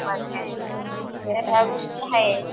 या गोष्टी आहेत.